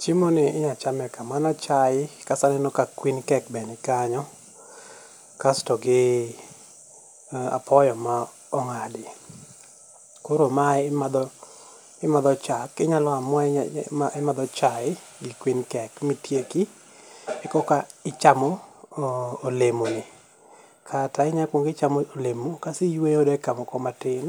Chiemoni inyalo chame kama an achae kaeto aneno ka kuin kek be nikanyo, kasto gi apoyo ma ong'adi. Koro mae imadho imadho chak, inyalo amua imadho chae gi kuin kek mitiek ekoka ichamo imadho olemoni kata inyalo ikuongo ichamo olemo kaeto iyueyo dakika moko matin